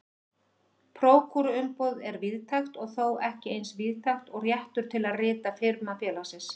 Prókúruumboð er víðtækt en þó ekki eins víðtækt og réttur til að rita firma félagsins.